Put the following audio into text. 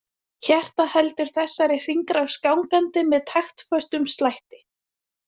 Hjartað heldur þessari hringrás gangandi með taktföstum slætti.